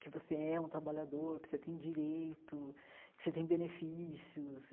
que você é um trabalhador, que você tem direito, que você tem benefícios.